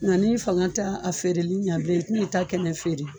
Nga n'i fanga tɛ a feereli ɲɛ bilen i tini ta kɛnɛ feere.